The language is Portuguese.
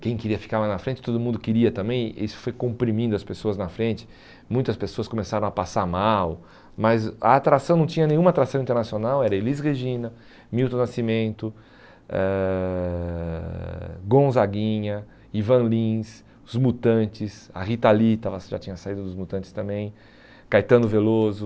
quem queria ficar mais na frente, todo mundo queria também, isso foi comprimindo as pessoas na frente, muitas pessoas começaram a passar mal, mas a atração não tinha nenhuma atração internacional, era Elis Regina, Milton Nascimento, eh Gonzaguinha, Ivan Lins, Os Mutantes, a Rita Lee estava já tinha saído dos Mutantes também, Caetano Veloso,